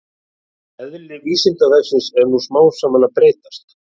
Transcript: Eðli Vísindavefsins er nú smám saman að breytast.